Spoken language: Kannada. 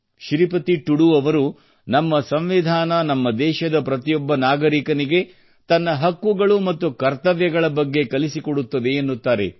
ಶ್ರೀಪತಿ ಟುಡು ಅವರು ನಮ್ಮ ಸಂವಿಧಾನ ನಮ್ಮ ದೇಶದ ಪ್ರತಿಯೊಬ್ಬ ನಾಗರಿಕನಿಗೆ ತನ್ನ ಹಕ್ಕುಗಳು ಮತ್ತು ಕರ್ತವ್ಯಗಳ ಬಗ್ಗೆ ಕಲಿಸಿಕೊಡುತ್ತದೆ ಎನ್ನುತ್ತಾರೆ